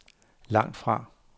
langtfra